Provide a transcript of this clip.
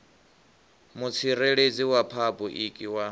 mutsireledzi wa phabu iki wa